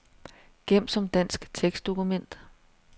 Gem som dansk tekstdokument.